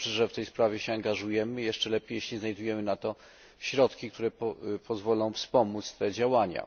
Dobrze, że w tej sprawie się angażujemy, jeszcze lepiej, jeśli znajdujemy na to środki, które pozwolą wspomóc te działania.